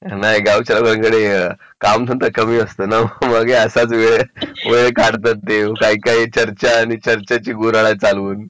नाही गावाच्या लोकांकडे कामधंदा कमी असतं नाव मग हे असाच वेळ काढतात ते काही चर्चा आणि चर्चेची गुऱ्हाळ चालवून